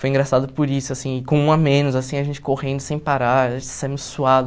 Foi engraçado por isso, assim com um a menos, assim a gente correndo sem parar, a gente saindo suado.